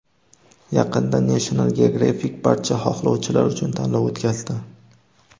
Yaqinda National Geographic barcha xohlovchilar uchun tanlov o‘tkazdi.